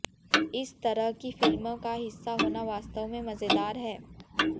इस तरह की फिल्म का हिस्सा होना वास्तव में मजेदार है